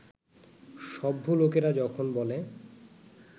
সভ্য লোকেরা যখন বলে